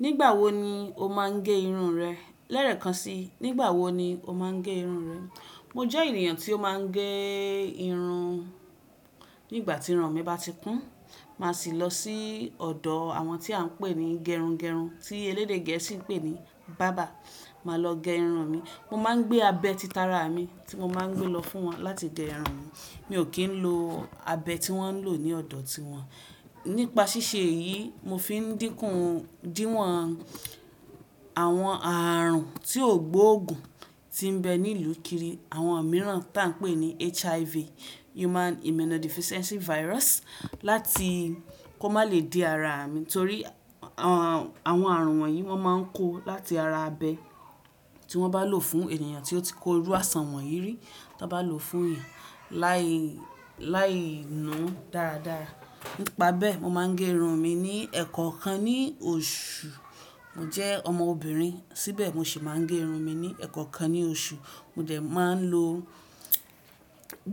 Nígbà wo ni o máa ń gẹ irun rẹ? Lẹ́ẹ̀kan si, nígbà wo ni o máa ń gẹ irun rẹ? Mo jẹ́ ènìyàn tí ó máa ń gẹ irun nígbà tí irun mi bá ti kún, mà sì lọ sí ọ̀dọ̀ àwọn tí à n pè ní gerungerun, tí elédè gẹ̀ẹ́sì pè ní barber, mà lọ gẹ irun mi. Mo máa ń gbé abẹ́ títaara mi tí mo máa ń gbé lọ fún wọn láti gẹ irun mi. Mi ò kí ń lo abẹ́ tí wọ́n ń lò ní ọ̀dọ̀ tí wọ́n. Nípa ṣíṣe yìí, mo fi ń dínkù díwọ̀n àwọn ààrùn tí ó gbóògùn tí ń bẹ ní ìlú kiri, àwọn mìíràn tí à ń pè ní HIV, láti kó má lè dí ara mi, torí àwọn àrùn wọ̀nyí wọ́n máa ń kó láti ara abẹ́ tí wọ́n bá lò fún ènìyàn tí ó ti kó irú àisàn wọ̀nyí rí tí wọ́n bá lò fún eysn láì nú dáradára. Nípa bẹ́ẹ̀, mo máa ń gẹ irun mi ní ẹ̀ẹ̀kọ̀kan ní oṣù. Mo jẹ́ ọmọ obìnrin, síbẹ̀ mo sì máa ń gẹ irun mi ní ẹ̀ẹ̀kankan ní oṣù. Mo dẹ̀ máa ń lo